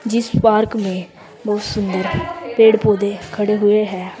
जिस पार्क में बहोत सुंदर पेड़ पौधे खड़े हुए हैं अ--